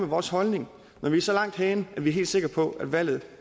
vores holdning når vi er så langt henne at vi er helt sikre på at valget